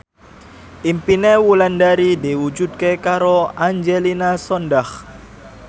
impine Wulandari diwujudke karo Angelina Sondakh